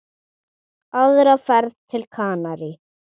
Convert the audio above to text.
Aðra ferð til Kanarí?